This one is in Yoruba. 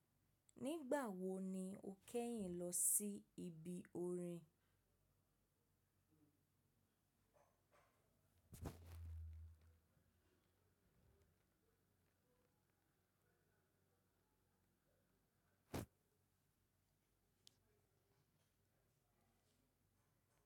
Nígbà wo ni o kẹ́yìn lọ sí ibi orin?